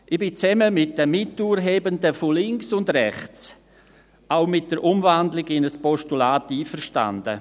Ich bin zusammen mit den Miturhebenden von links und rechts auch mit der Umwandlung in ein Postulat einverstanden.